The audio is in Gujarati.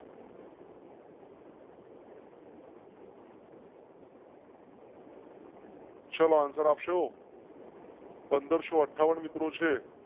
શો answer આપશો? પંદરસો અઠ્ઠા વન મિત્રો છે.